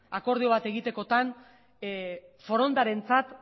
akordio bat egitekotan forondarentzat